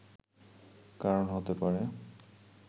কারণ হতে পারে